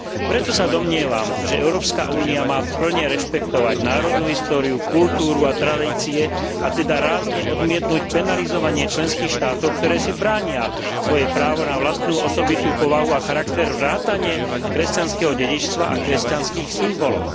Preto sa domnievam, že Európska únia má plne rešpektovať národnú históriu, kultúru a tradície, a teda rázne odmietnuť penalizovanie členských štátov, ktoré si bránia svoje právo na vlastnú osobitú povahu a charakter vrátane kresťanského dedičstva a kresťanských symbolov.